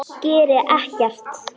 Geri ekkert.